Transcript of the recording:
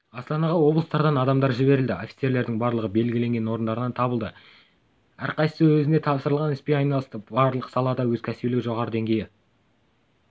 астанаға облыстардан адамдар жіберілді офицерлердің барлығы белгіленген орындарынан табыла білді әрқайсысы өзіне тапсырылған іспен айналысты барлық салада да кәсібиліктің жоғары деңгейі